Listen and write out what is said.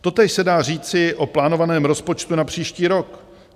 Totéž se dá říci o plánovaném rozpočtu na příští rok.